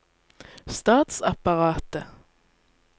statsapparatet